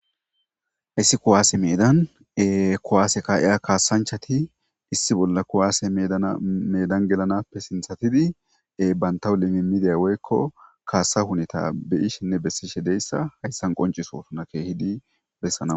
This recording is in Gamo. Haysi kuwase medan kuwase ka'iza kassanchchatii issi bolla kuwase medan gelanappe sinththan banttaw limimidiya woykko kasa huneta beyishenne besishe de'iyayssa hayssan qonccisosonna keehiddi